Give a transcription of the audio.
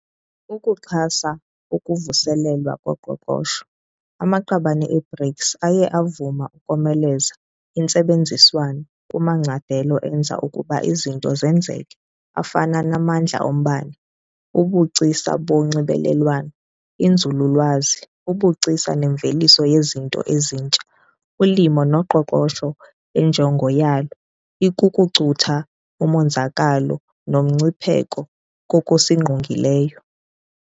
Ukuxhasa ukuvuselelwa koqoqosho, amaqabane e-BRICS aye avuma ukomeleza intsebenziswano kumacandelo enza ukuba izinto zenzeke afana namandla ombane, ubugcisa bonxibelelwano, inzululwazi, ubugcisa nemveliso yezinto ezintsha, ulimo noqoqosho enjongo yalo ikukucutha umonzakalo nomgcipheko kokusingqongileyo.